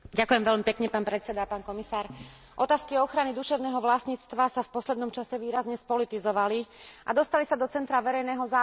Otázky ochrany duševného vlastníctva sa v poslednom čase výrazne spolitizovali a dostali sa do centra verejného záujmu najmä vďaka spornej dohode ACTA.